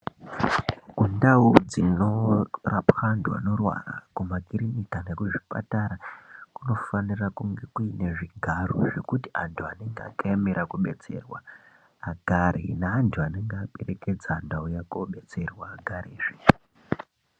Kundau dzinorapwa antu anorwara kumakiriniki, nekuzvipatara kunofanira kunge kuine zvigaro zvekuti antu anenge akaemera kubetserwa agare neantu anenge aperekedza antu anenge auya kobetserwa agare.